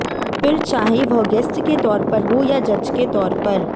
फिर चाहे वह गेस्ट के तौर पर हो या जज के तौर पर